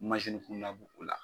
bɛ o la.